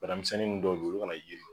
Bana misɛnnin nu dɔw be olu ka na yerikɛ